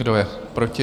Kdo je proti?